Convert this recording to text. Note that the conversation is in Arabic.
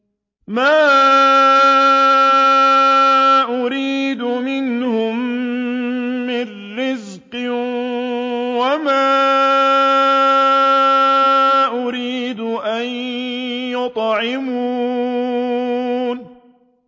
مَا أُرِيدُ مِنْهُم مِّن رِّزْقٍ وَمَا أُرِيدُ أَن يُطْعِمُونِ